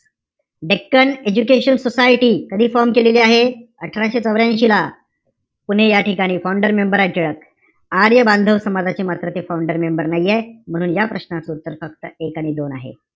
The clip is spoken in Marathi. डेक्कन एजुकेशन सोसायटी, कधी form केलेली आहे? अठराशे चौर्यांशी ला. पुणे या ठिकाणी. Founder member आहे टिळक. आर्य बांधव समाजाचे मात्र ते founder member नाहीये. म्हणून या प्रश्नाचं उत्तर फक्त एक आणि दोन आहे.